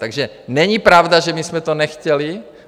Takže není pravda, že my jsme to nechtěli.